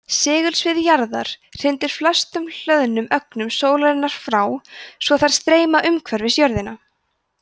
segulsvið jarðar hrindir flestum hlöðnum ögnum sólarinnar frá svo þær streyma umhverfis jörðina